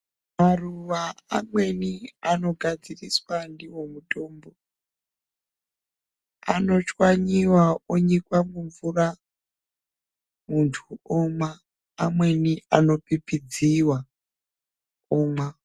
Maruwa amweni ano gadziriswa ndiwo mutombo ano chwanyiwa onyikwa mu mvura muntu omwa amweni ano pipidziwa omwa.